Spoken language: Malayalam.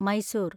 മൈസൂർ